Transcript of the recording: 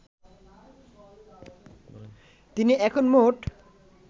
তিনি এখন মোট